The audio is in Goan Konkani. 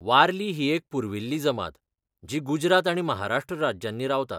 वारली ही एक पुर्विल्ली जमात जी गुजरात आनी महाराष्ट्र राज्यांनी रावता.